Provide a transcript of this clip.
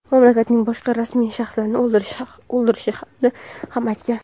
mamlakatning boshqa rasmiy shaxslarini o‘ldirishini ham aytgan.